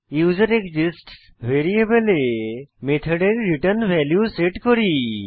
user exists ভ্যারিয়েবলে মেথডের return value set করি